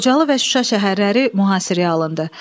Xocalı və Şuşa şəhərləri mühasirəyə alındı.